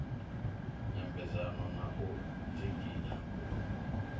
nyambedzano na u dzinginya u